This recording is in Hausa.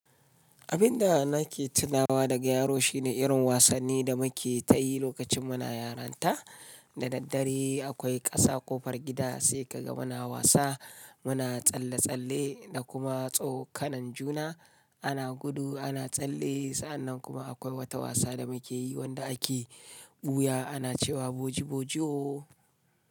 Abin da nake tunawa daga yaro shine irin wasanni da muke ta yi lokacin muna yaranta. Da daddare akwai ƙasa ƙofar gida sai ka ga muna wasa, muna tsalle-tsalle da kuma tsokanan juna. Ana gudu, ana tsalle sa'annan kuma akwai wata wasa da muke yi wanda ake ɓuya ana cewa boji-boji ooo.